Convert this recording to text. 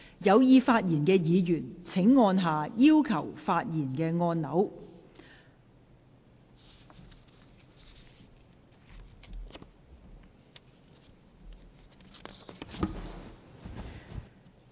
有意發言的議員請按下"要求發言"按鈕。